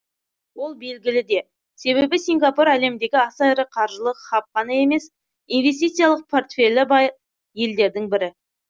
ол белгілі де себебі сингапур әлемдегі аса ірі қаржылық хаб қана емес инвестициялық портфелі бай елдердің бірі